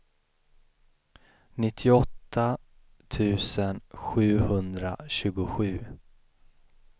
nittioåtta tusen sjuhundratjugosju